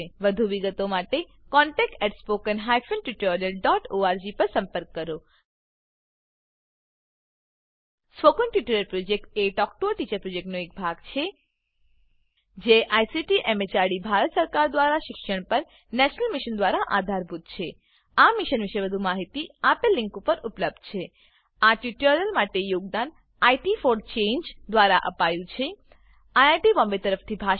વધુ વિગતો માટે contactspoken tutorialorg પર લખો spoken tutorial project talk to a teacher પ્રોજેક્ટનો એક ભાગ છે જેને આઈસીટી એમએચઆરડી ભારત સરકાર મારફતે શિક્ષણ પર નેશનલ મિશન દ્વારા આધાર અપાયેલ છે આ મિશન પરની વધુ માહિતી spoken tutorialorgnmeict ઇન્ટ્રો પર ઉપલબ્ધ છે આ ટ્યુટોરીયલ માટે યોગદાન ઇટ ફોર ચાંગે દ્વારા અપાયું છે અમને જોડાવાબદ્દલ આભાર